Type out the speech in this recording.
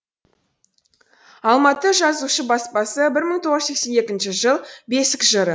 алматы жазушы баспасы бір мың тоғыз жүз сексен екінші жыл бесік жыры